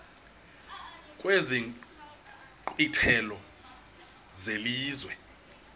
kwezi nkqwithela zelizwe